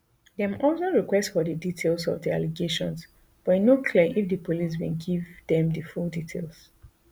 dem also request for di details of di allegations but e no clear if di police bin give dem di full details